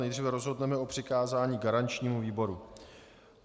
Nejdříve rozhodneme o přikázání garančnímu výboru.